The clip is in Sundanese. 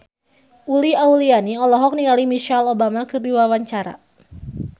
Uli Auliani olohok ningali Michelle Obama keur diwawancara